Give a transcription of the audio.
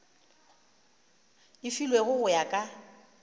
e filwego go ya ka